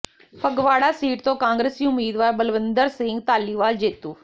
Phagwara seat ਤੋਂ ਕਾਂਗਰਸੀ ਉਮੀਦਵਾਰ ਬਲਵਿੰਦਰ ਸਿੰਘ ਧਾਲੀਵਾਲ ਜੇਤੂ